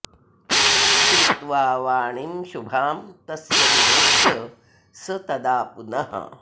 श्रुत्वा वाणीं शुभां तस्य विलोक्य स तदा पुनः